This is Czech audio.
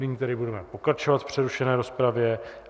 Nyní tedy budeme pokračovat v přerušené rozpravě.